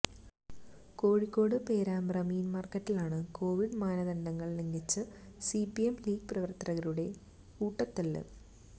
കോഴിക്കോട് പേരാമ്പ്ര മീന് മാര്ക്കറ്റിലാണ് കോവിഡ് മാനദണ്ഡങ്ങള് ലംഘിച്ച് സിപിഎം ലീഗ് പ്രവര്ത്തകരുടെ കൂട്ടത്തല്ല്